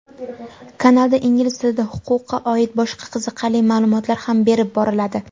kanalda ingliz tilida huquqqa oid boshqa qiziqarli ma’lumotlar ham berib boriladi.